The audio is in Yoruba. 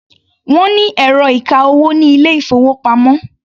Wọ́n ní ẹ̀rọ ìka-owó ní ilé-ìfowópamọ́.